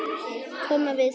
Koma við sig hvar?